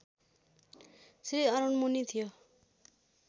श्रीअरुण मुनि थियो